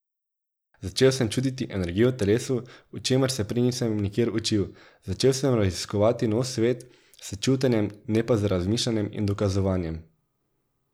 Začel sem čutiti energije v telesu, o čemer se prej nisem nikjer učil, začel sem raziskovati nov svet s čutenjem, ne pa z razmišljanjem in dokazovanjem.